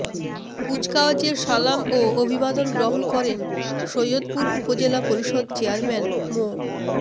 কুচকাওয়াজে সালাম ও অভিবাদন গ্রহণ করেন সৈয়দপুর উপজেলা পরিষদ চেয়ারম্যান মো